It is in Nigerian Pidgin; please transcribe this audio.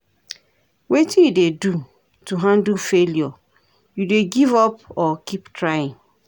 Wetin you dey do to handle failure, you dey give up or keep trying?